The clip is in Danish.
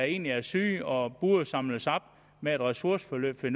egentlig er syge og som burde samles op med et ressourceforløb det